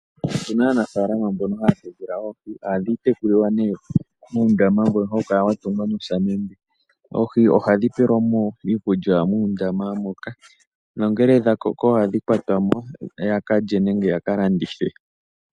Opuna aanafalama mbono haya tekula oohi nohadhi tekulilwa muundama mbono hawu kala watungwa nosamende. Uuna dha koka ohadhi kwatwamo yakalye nenge ya kalandithe.